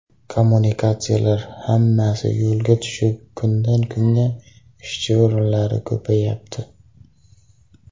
Kommunikatsiyalar hammasi yo‘lga tushib, kundan-kunga ishchi o‘rinlari ko‘payapti.